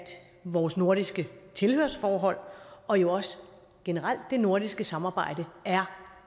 vores nordiske tilhørsforhold og jo også generelt det nordiske samarbejde er